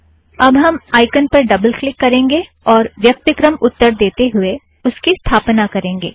अब हम आइकन पर ड़बल किल्क करेंगे और व्यक्तिक्रम उत्तर देते हूए इसकी स्थापना करेंगे